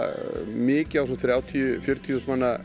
mikið á þessum þrjátíu til fjörutíu þúsund manna